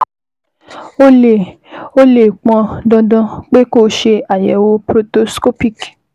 Ó lè Ó lè pọn dandan pé kó o ṣe àyẹ̀wò proctoscopic